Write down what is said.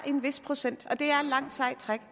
en vis procent og det er et langt sejt træk